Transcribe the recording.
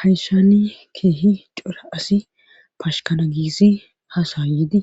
hayssani keehi cora asi fashkana giisi hasa yidi